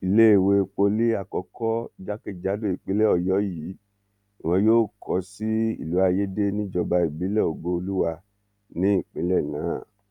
iléèwé pọlì àkọkọ jákèjádò ìpínlẹ ọyọ yìí ni wọn yóò kó sí ìlú ayéde níjọba ìbílẹ ògooluwa ní ìpínlẹ náà